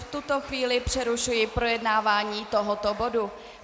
V tuto chvíli přerušuji projednávání tohoto bodu.